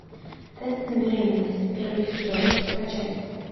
тест на беременность первый сезон скачать